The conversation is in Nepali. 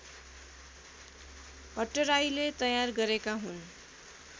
भट्टराईले तयार गरेका हुन्